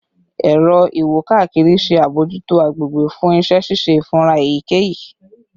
Ẹrọ iwo-kakiri ṣe abojuto agbegbe fun iṣẹ ṣiṣe ifura eyikeyi